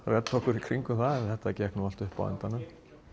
redda okkur í kringum það en það gekk allt upp á endanum